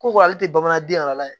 Ko ko ale tɛ bamananden yɛrɛ la ye